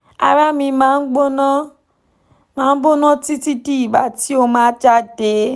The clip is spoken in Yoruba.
ara mi ma n gbona ma n gbona titi di igba ti o ma jade